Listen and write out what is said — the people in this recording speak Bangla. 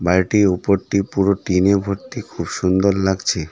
বাড়িটি ওপরটি পুরো টিনে ভর্তি খুব সুন্দর লাগছে।